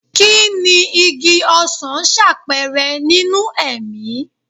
Kí ni igi ọsan ṣàpẹẹrẹ nínú ẹ̀mí?